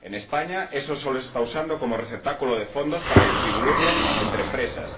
En España solo se está usando como receptáculo de fondos para distribuirlo entre empresas.